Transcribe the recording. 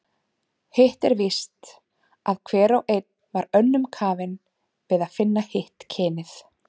Hitt er víst, að hver og einn var önnum kafinn við að finna hitt kynið.